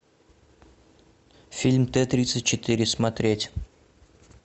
фильм т тридцать четыре смотреть